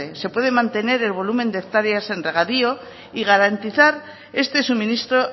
se puede mantener el volumen de hectáreas en regadío y garantizar este suministro